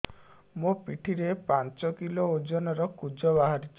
ମୋ ପିଠି ରେ ପାଞ୍ଚ କିଲୋ ଓଜନ ର କୁଜ ବାହାରିଛି